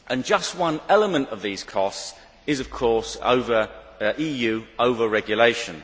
Just one element of these costs is, of course, EU over regulation.